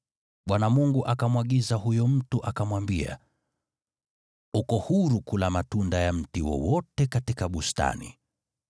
Bwana Mungu akamwagiza huyo mtu, akamwambia, “Uko huru kula matunda ya mti wowote katika bustani,